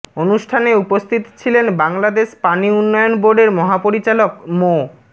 অনুষ্ঠানে উপস্থিত ছিলেন বাংলাদেশ পানি উন্নয়ন বোর্ডের মহাপরিচালক মো